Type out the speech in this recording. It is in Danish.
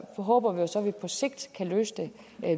håber så at vi på sigt kan løse det